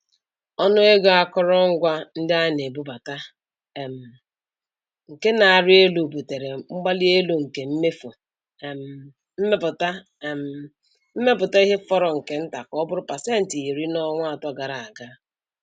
Ọnụ ego akụrụngwa ndị ana-ebubata um nke na-arị elu butere mgbalielu nke mmefu um mmepụta um mmepụta ihe fọrọ nke nta ka ọ bụrụ pasentị iri (10%) n'ọnwa atọ gara aga.